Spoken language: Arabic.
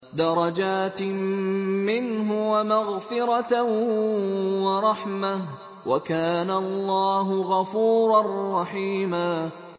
دَرَجَاتٍ مِّنْهُ وَمَغْفِرَةً وَرَحْمَةً ۚ وَكَانَ اللَّهُ غَفُورًا رَّحِيمًا